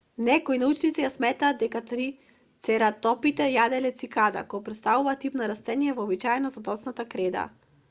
некои научници сметаат дека трицератопите јаделе цикада кое претставува тип на растение вообичаено за доцната креда